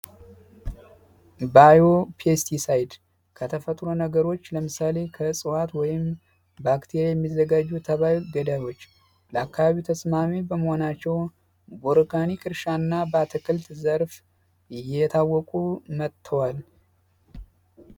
ባዮ ፒሲ ከተፈጥሮ ነገሮች ለምሳሌ ወይም ባክቴሪያ የሚዘጋጁ ገዳሞች ለአካባቢ ተስማሚ በመሆናቸው ዘርፍ እየታወቁ መጥተዋል